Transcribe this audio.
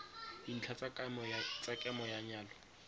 dintlha tsa kemo ya nyalo